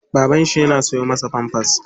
Baban shi yana siyo masa pampers.